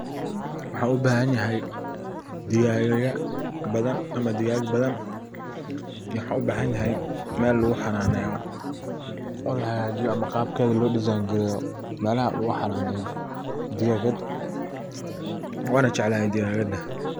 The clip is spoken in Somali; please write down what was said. Waxan u bahan yahay digagada badan ama digag badan. Iyo waxan u bahnay mel lagu hananeyo oo laha gajiyo ama qabkeda loo design gareyo melaha lagu hananeyo digagad wana jeclahay digagada.